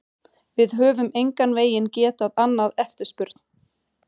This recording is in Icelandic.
Við höfum engan veginn getað annað eftirspurn.